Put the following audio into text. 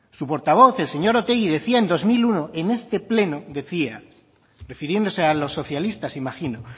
su portavoz el señor otegi decía en dos mil uno en este pleno decía refiriéndose a los socialistas imagino